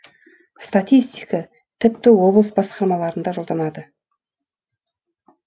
статистика тіпті облыс басқарамаларынада жолданады